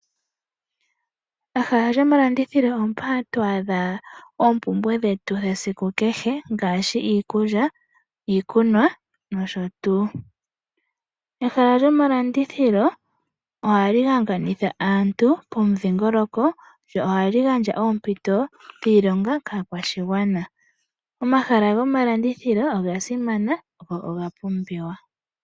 Ehala lyomalandithilo ompoka hatu adha ompumbwe dhetu dhesiku kehe ngashi iikulya, iikunwa noshotu. Pehala lyomalandithilo ohali hanganitha aantu pomudhingoloko lyo ohali gandja oompito dhiilonga kaakwashigwana. Omahala gomalandithilo oga simana go oga pumbiwa.